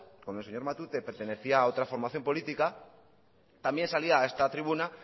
cuando el señor matute pertenecía a otra formación política también salía a esta tribuna